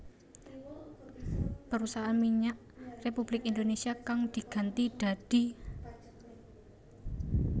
Perusahaan Minyak Republik Indonésia kang diganti dadi